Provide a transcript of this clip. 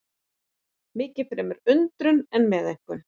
Miklu fremur undrun og meðaumkun.